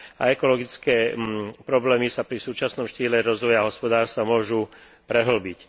A ekologické problémy sa pri súčasnom štýle rozvoja hospodárstva môžu prehĺbiť.